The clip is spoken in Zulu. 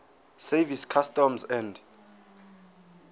service customs and